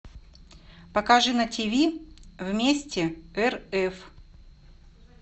покажи на тв вместе рф